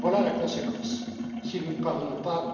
Voilà la conséquence, si nous ne parvenons pas